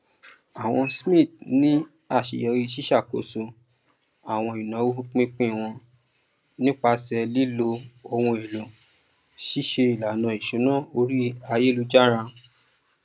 àwọn smiths ní aṣeyọrí siṣàkóso àwọn ináwó pínpín wọn nípasẹ lílo ohun èlò ṣíṣe ìlànà ìṣúná orí ayélujára